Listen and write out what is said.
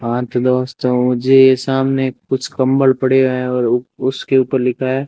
हां तो दोस्तों मुझे सामने कुछ कंबल पड़े हैं और उसके ऊपर लिखा है।